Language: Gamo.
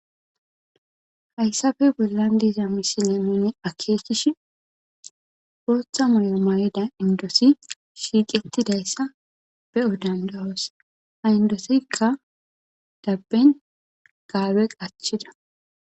Haysappe bollan diza misile nun akekishn Botha mayo mayida indot shiqetidaysa beyo danda'os. Ha indetika daben gabe qacida.